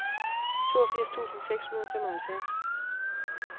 toogfirs tusind seks hundrede og femoghalvfjerds